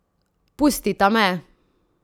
Pustita me!